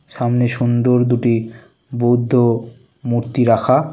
সামনে সুন্দর দুটি বুদ্ধ মূর্তি রাখা।